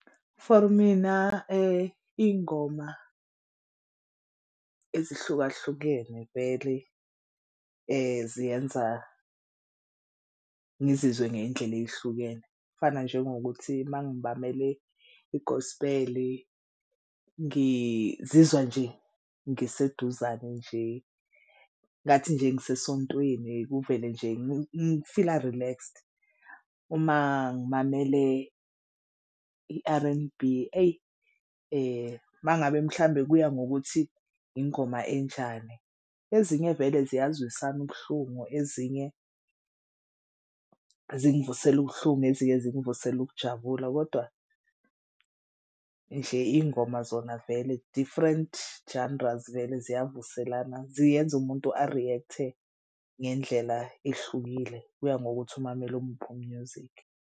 For mina iy'ngoma ezihlukahlukene vele ziyenza ngizizwe ngey'ndlela ey'hlukene. Kufana njengokuthi uma ngimamele i-gospel ngizizwa nje ngiseduzane nje ngathi nje ngisesontweni kuvele nje ngifila relaxed. Uma ngimamele i-R_N_B eyi uma ngabe mhlambe kuya ngokuthi ingoma enjani. Ezinye vele ziyazwisana ubuhlungu ezinye zingvusela ubuhlungu, ezinye zingivusela ukujabula kodwa nje iy'ngoma zona vele. Different genres vele ziyavuselana ziyenza umuntu a-react-e ngendlela ehlukile kuya ngokuthi umamele omuphi u-music.